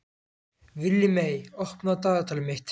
Villimey, opnaðu dagatalið mitt.